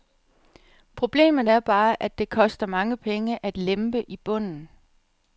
Problemet er bare, at det koster mange penge at lempe i bunden.